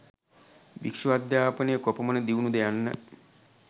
භික්ෂු අධ්‍යාපනය කොපමණ දියුණුද යන්න